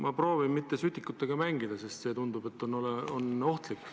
Ma proovin mitte sütikutega mängida, sest tundub, et see on ohtlik.